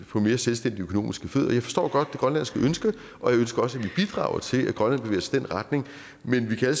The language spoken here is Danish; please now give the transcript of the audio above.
på mere selvstændige økonomiske fødder jeg forstår godt det grønlandske ønske og jeg ønsker også at vi bidrager til at grønland i den retning men vi kan